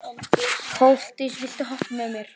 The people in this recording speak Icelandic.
Koldís, viltu hoppa með mér?